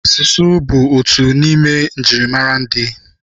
Asụsụ bụ otu n'ime njirimara ndị.